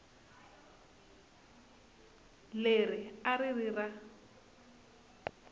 leri a ri ri ra